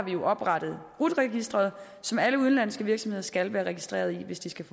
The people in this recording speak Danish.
oprettet rut registeret som alle udenlandske virksomheder skal være registreret i hvis de skal